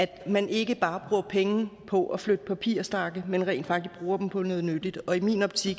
at man ikke bare bruger penge på at flytte papirstakke men rent faktisk bruger dem på noget nyttigt og i min optik